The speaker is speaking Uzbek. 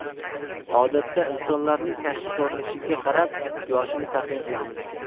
Odatda insonlarning tashqi ko‘rinishiga qarab yoshini taxmin qilamiz.